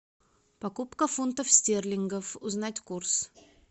покупка фунтов стерлингов узнать курс